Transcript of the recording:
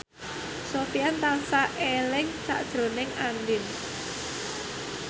Sofyan tansah eling sakjroning Andien